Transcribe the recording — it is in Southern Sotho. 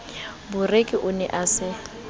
boreki o ne a sa